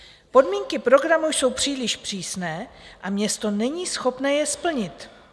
Podmínky programu jsou příliš přísné a město není schopné je splnit.